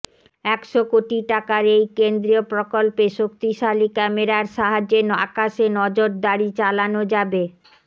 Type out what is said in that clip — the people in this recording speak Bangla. একশো কোটি টাকার এই কেন্দ্রীয় প্রকল্পে শক্তিশালী ক্যামেরার সাহায্যে আকাশে নজরদারি চালানো যাবে